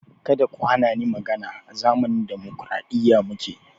Kada ku hani ni magana! A zamanin dimokraɗiya muke